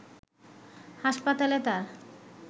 হাসপাতালে তার